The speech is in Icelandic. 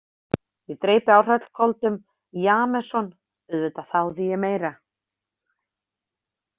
Ég dreypi á hrollköldum Jameson, auðvitað þáði ég meira.